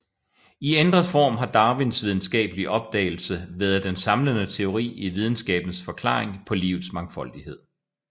I ændret form har Darwins videnskabelige opdagelse været den samlende teori i videnskabens forklaring på livets mangfoldighed